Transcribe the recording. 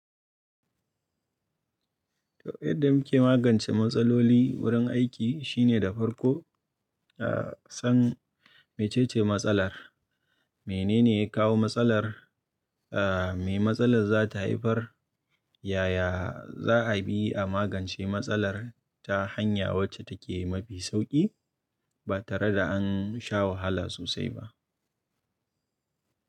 To, yadda muke magance matsaloli wurin aiki shine da farko, a san mece ce matsalar, menene ya kawo matsalar, a me matsalar za ta haifar, yaya za a bi a magance matsalar ta hanya wacce take mafi sauƙi ba tare da an sha wahala sosai ba.